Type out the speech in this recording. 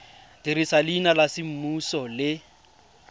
dirisa leina la semmuso le